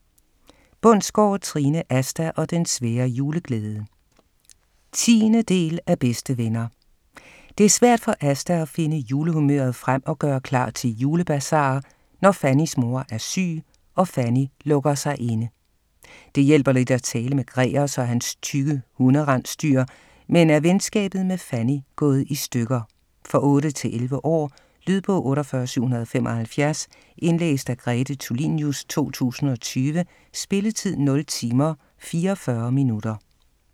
Bundsgaard, Trine: Asta og den svære juleglæde 10. del af Bedste venner. Det er svært for Asta at finde julehumøret frem og gøre klar til julebasar, når Fannys mor er syg og Fanny lukker sig inde. Det hjælper lidt at tale med Gregers og hans tykke hunde-rensdyr, men er venskabet med Fanny gået i stykker? For 8-11 år. Lydbog 48775 Indlæst af Grete Tulinius, 2020. Spilletid: 0 timer, 44 minutter.